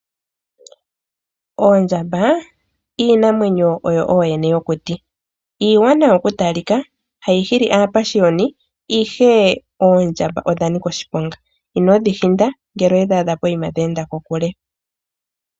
Oondjamba, iinamwenyo oyo ooyene yokuti. Iiwanawa oku talika, hayi hili aapashiyoni; ihe oondjamba odha nika oshiponga. Inodhi hinda, ngele owe dhi adha poyima dhi enda kokule.